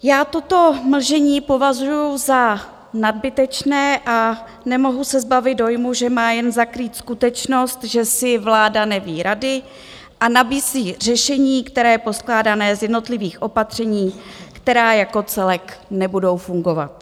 Já toto mlžení považuji za nadbytečné a nemohu se zbavit dojmu, že má jen zakrýt skutečnost, že si vláda neví rady a nabízí řešení, které je poskládané z jednotlivých opatření, která jako celek nebudou fungovat.